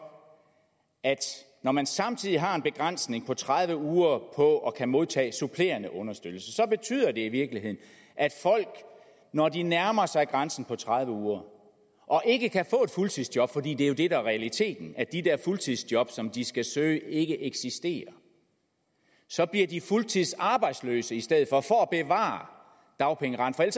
at når man samtidig har en begrænsning på tredive uger på at kunne modtage supplerende understøttelse så betyder det i virkeligheden at folk når de nærmer sig grænsen på tredive uger og ikke kan få et fuldtidsjob for det er jo det der er realiteten at de der fuldtidsjob som de skal søge ikke eksisterer så bliver de fuldtidsarbejdsløse i stedet for for at bevare dagpengeretten